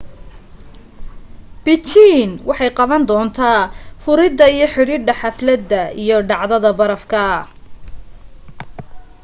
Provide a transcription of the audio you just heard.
beijing waxay qaban doontaa furida iyo xidhida xaflada iyo dhacdada barafka